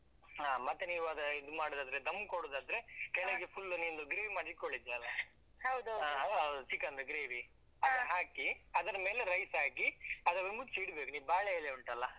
ಹಾ ಮತ್ತೆ ನೀವ್ ಅದು ಅಹ್ ಇದ್ ಮಾಡುದಾದ್ರೆ dum ಕೊಡುದಾದ್ರೆ full ನಿಮ್ಮದು gravy ಮಾಡಿ ಇದ್ಕೊಂಡಿದ್ದೀ ಅಲ್ವಾ. chicken ದು gravy ಹಾಕಿ ಅದ್ರ ಮೇಲೆ rice ಹಾಕಿ ಅದನ್ನು ಮುಚ್ಚಿ ಇಡ್ಬೇಕು, ಈ ಬಾಳೆ ಎಲೆ ಉಂಟಲ್ಲಾ.